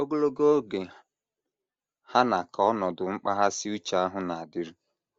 Ogologo oge hà aṅaa ka ọnọdụ mkpaghasị uche ahụ na - adịru?